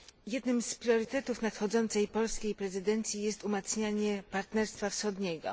Jednym z priorytetów nadchodzącej polskiej prezydencji jest umacnianie partnerstwa wschodniego.